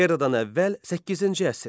Eradan əvvəl 8-ci əsr.